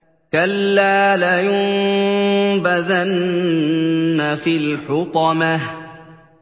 كَلَّا ۖ لَيُنبَذَنَّ فِي الْحُطَمَةِ